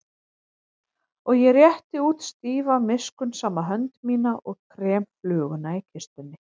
Og ég rétti út stífa miskunnsama hönd mína og krem fluguna í kistunni.